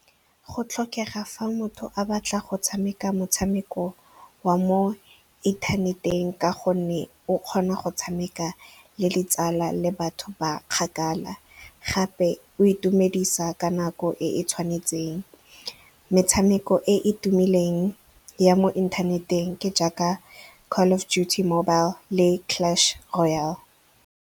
Go tlhokega fa motho a batla go tshameka motshameko wa mo inthaneteng ka gonne o kgona go tshameka le ditsala le batho ba kgakala. Gape o itumedisa ka nako e e tshwanetseng. Metshameko e e tumileng ya mo inthaneteng ke jaaka Call of Duty Mobile le Clash Royal.